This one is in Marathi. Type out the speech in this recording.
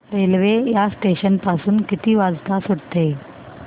रेल्वे या स्टेशन पासून किती वाजता सुटते